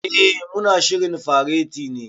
Eh, mu na shirin fareti ne.